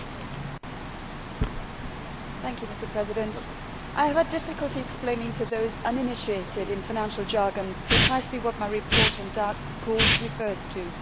Mr President, I have difficulty explaining to those uninitiated in financial jargon precisely what my report on dark pools' refers to.